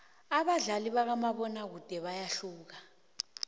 abadlali bakamabona kude bayahlukana